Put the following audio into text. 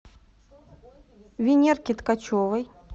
венерке ткачевой